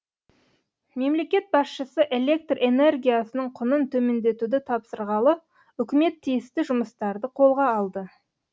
мемлекет басшысы электр энергиясының құнын төмендетуді тапсырғалы үкімет тиісті жұмыстарды қолға алды